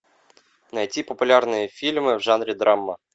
найти популярные фильмы в жанре драма